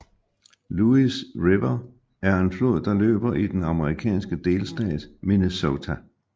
Louis River er en flod der løber i den amerikanske delstat Minnesota